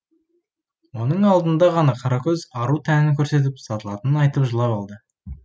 оның алдында ғана қаракөз ару тәнін көрсетіп сатылатынын айтып жылап алды